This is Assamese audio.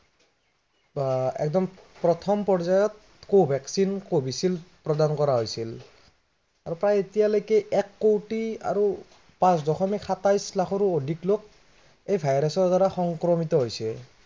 প্ৰথম পৰ্যায়ত ক'ভেক্সিন, কভিশ্বিল্ড প্ৰদান কৰা হৈছিল। আৰু প্ৰায় এতিয়ালৈকে এক কৌটি আৰু পাঁচ দশমিক সাতাইশ লাখো অধিক লোক এই virus ৰ দ্বাৰা সংক্ৰমিত হৈছে।